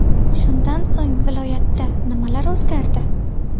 Shundan so‘ng viloyatda nimalar o‘zgardi?.